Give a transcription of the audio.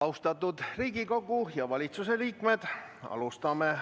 Austatud Riigikogu ja valitsuse liikmed!